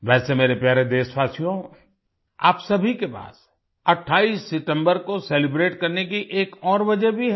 वैसे मेरे प्यारे देशवासियो आप सभी के पास 28 सितम्बर को सेलिब्रेट करने की एक और वजह भी है